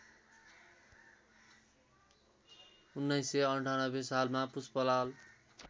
१९९८ सालमा पुष्पलाल